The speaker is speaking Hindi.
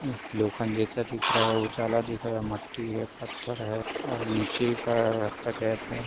लोखंड जैसा दिख रहा है। उजाला दिख रहा है। मट्टी है। पत्थर है। नीचे एक रास्ता गया हुआ है।